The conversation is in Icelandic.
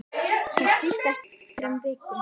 Hann snýst ekki á þrem vikum.